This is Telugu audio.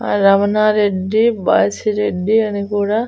ఆ రవణారెడ్డి బాసిరెడ్డి అని కూడా--